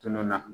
Tununna